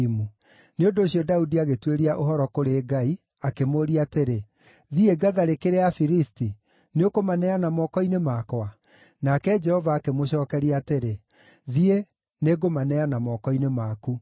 nĩ ũndũ ũcio Daudi agĩtuĩria ũhoro kũrĩ Ngai, akĩmũũria atĩrĩ, “Thiĩ ngatharĩkĩre Afilisti? Nĩũkũmaneana moko-inĩ makwa?” Nake Jehova akĩmũcookeria atĩrĩ, “Thiĩ, nĩngũmaneana moko-inĩ maku.”